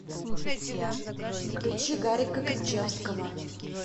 включи гарика кричевского